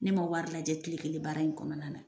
Ne ma wari lajɛ kile kelen baara in kɔnɔna na.